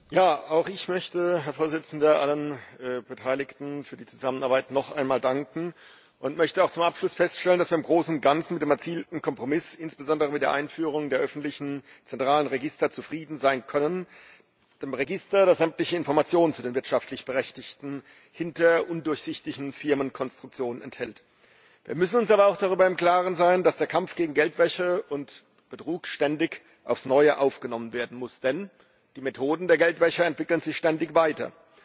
Herr Präsident! Auch ich möchte allen Beteiligten noch einmal für die Zusammenarbeit danken und zum Abschluss feststellen, dass wir im Großen und Ganzen mit dem erzielten Kompromiss, insbesondere mit der Einführung der öffentlichen zentralen Register, zufrieden sein können, mit dem Register, das sämtliche Informationen zu den wirtschaftlich Berechtigten hinter undurchsichtigen Firmenkonstruktionen enthält. Wir müssen uns aber auch darüber im Klaren sein, dass der Kampf gegen Geldwäsche und Betrug ständig aufs Neue aufgenommen werden muss, denn die Methoden der Geldwäscher entwickeln sich ständig weiter.